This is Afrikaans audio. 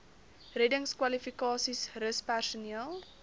reddingskwalifikasies rus personeel